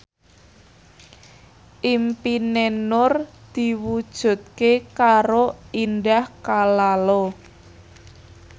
impine Nur diwujudke karo Indah Kalalo